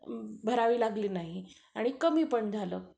भरावी लागली नाही आणि कमी पण झालं.